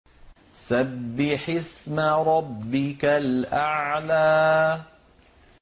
سَبِّحِ اسْمَ رَبِّكَ الْأَعْلَى